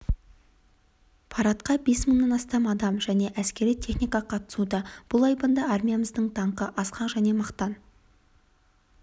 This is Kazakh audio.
парадқа бес мыңнан астам адам және әскери техника қатысуда бұл айбынды армиямыздың даңқы асқақ және мақтан